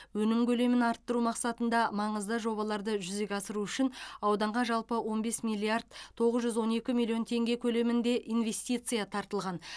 өнім көлемін арттыру мақсатында маңызды жобаларды жүзеге асыру үшін ауданға жалпы он бес миллиард тоғыз жүз он екі миллион теңге көлемінде инвестиция тартылған